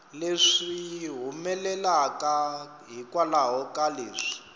leswi humelelaka hikwalaho ka leswi